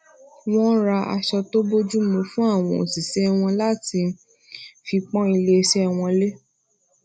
wón ra aṣọ tó bojumu fún àwọn òṣìṣé wọn lati fi pon ilese won le